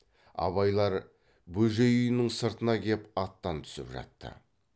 абайлар бөжей үйінің сыртына кеп аттан түсіп жатты